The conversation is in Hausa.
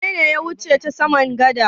Wane ne ya wuce ta samar gada?